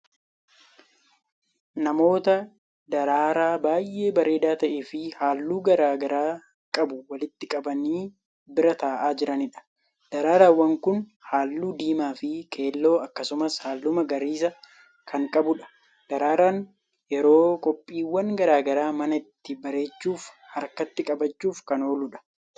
Namoota daraaraa baay'ee bareedaa ta'eefi halluu garagaraa qabu walitti qabanii bira taa'aa jiraniidha. daraaraawwan Kuni halluu diimaafi keelloo akkasumas halluu magariisa Kan qabuudha. daraaraan yeroo qophiiwwan garagaraa mana ittiin bareechuufi harkatti qabachuuf Kan ooludha.